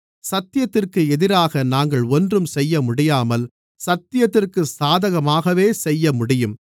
சத்தியத்திற்கு எதிராக நாங்கள் ஒன்றும் செய்யமுடியாமல் சத்தியத்திற்கு சாதகமாகவே செய்யமுடியும்